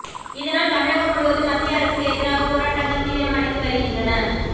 இதனால் தமிழகம் முழுவதும் மத்திய அரசுக்கு எதிராக போராட்டங்கள் தீவிரம் அடைந்து வருகின்றன